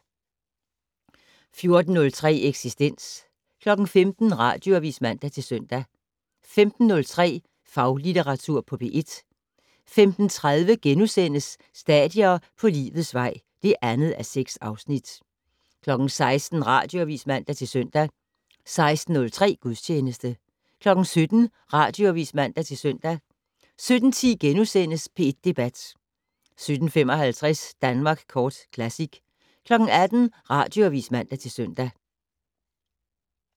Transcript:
14:03: Eksistens 15:00: Radioavis (man-søn) 15:03: Faglitteratur på P1 15:30: Stadier på livets vej (2:6)* 16:00: Radioavis (man-søn) 16:03: Gudstjeneste 17:00: Radioavis (man-søn) 17:10: P1 Debat * 17:55: Danmark Kort Classic 18:00: Radioavis (man-søn)